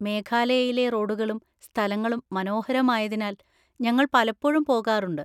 മേഘാലയയിലെ റോഡുകളും സ്ഥലങ്ങളും മനോഹരമായതിനാൽ ഞങ്ങൾ പലപ്പോഴും പോകാറുണ്ട്.